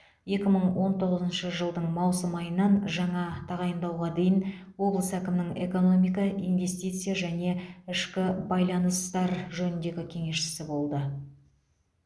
екі мың он тоғызыншы жылдың маусым айынан жаңа тағайындауға дейін облыс әкімінің экономика инвестиция және ішкі байланыстар жөніндегі кеңесшісі болды